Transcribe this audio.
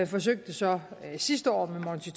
forsøgte så sidste år med monti